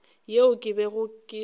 yeo ke bego ke e